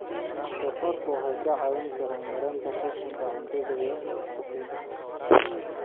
Doofaarku waxay kaa caawin karaan yaraynta qashinka cuntada iyo qashinka.